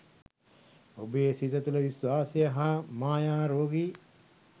ඔබේ සිත තුළ විශ්වාසය හා මායා රෝගී